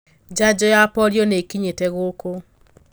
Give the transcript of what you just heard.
Janjo ya polio nĩkinyite gũkũ.